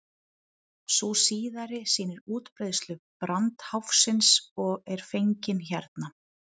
sú síðari sýnir útbreiðslu brandháfsins og er fengin hérna